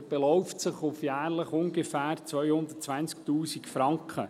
Er beläuft sich auf jährlich ungefähr 220’000 Franken.